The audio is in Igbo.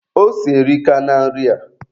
Ose erika na nri a